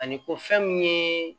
Ani ko fɛn min ye